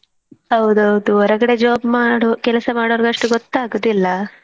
ಹೌದೌದು ಹೊರಗಡೆ job ಮಾಡೋ ಕೆಲಸ ಮಾಡೋರಗಸ್ಟು ಗೊತ್ತಾಗುದಿಲ್ಲ.